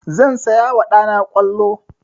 Zan saya wa ɗa na ƙwallo.